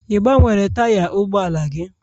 Ị gbanwere taya ụgbọala gị?